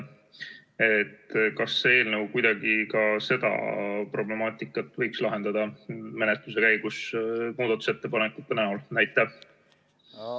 Kas see eelnõu võiks kuidagi menetluse käigus muudatusettepanekute näol ka seda problemaatikat lahendada?